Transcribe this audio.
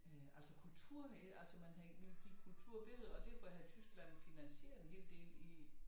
Øh altså kulturen i det altså man havde gik kultur ved det og derfor havde Tyskland finansieret en hel del i